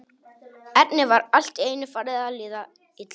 Erni var allt í einu farið að líða illa.